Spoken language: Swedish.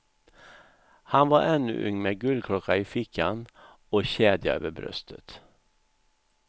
Han var ännu ung med guldklocka i fickan och kedja över bröstet.